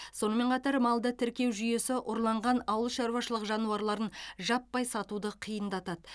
сонымен қатар малды тіркеу жүйесі ұрланған ауылшаруашылық жануарларын жаппай сатуды қиындатады